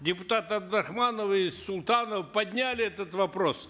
депутаты абдрахманов и султанов подняли этот вопрос